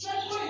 Pariseke